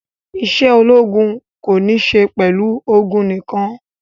Isé ológun ko ní isé pẹlu ogun nikan